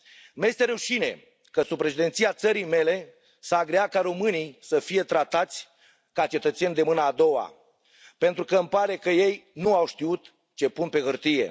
Îmi este rușine că sub președinția țării mele s a agreat ca românii să fie tratați ca cetățeni de mâna a doua, pentru că îmi pare că ei nu au știut ce pun pe hârtie.